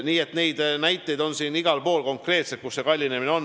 Nii et näiteid, kus see kallinemine on toimunud, on igalt poolt.